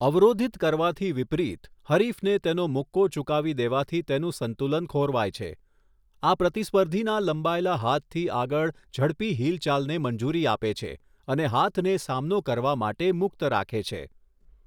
અવરોધિત કરવાથી વિપરીત, હરીફને તેનો મુક્કો ચૂકાવી દેવાથી તેનું સંતુલન ખોરવાય છે, આ પ્રતિસ્પર્ધીના લંબાયેલા હાથથી આગળ ઝડપી હિલચાલને મંજૂરી આપે છે અને હાથને સામનો કરવા માટે મુક્ત રાખે છે.